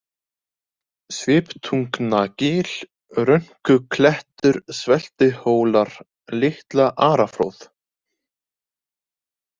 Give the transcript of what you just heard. Sviptungnagil, Rönkuklettur, Sveltihólar, Litla-Araflóð